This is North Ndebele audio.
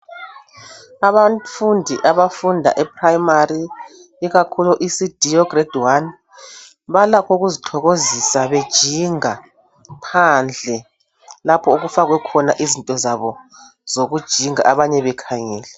Abafundi abafunda e primary ikakhulu ECD, ograde 1 balakho ukuzithokozisa bejinga phandle lapho okufakwe khona izinto zabo zokujinga abanye bekhangele